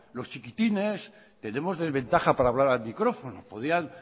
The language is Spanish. los chiquitines tenemos desventaja para hablar al micrófono podrían